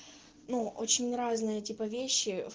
ну очень разная типа вещи